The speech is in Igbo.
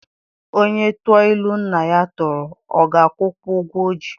Onye tụọ ilu nna ya tụrụ, ọ ga-akwụkwa ụgwọ o ji?